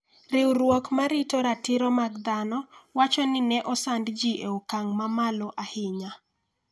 riwruok ma rito ratiro mag dhano wacho ni ne osand ji e okang' mamalo ahinya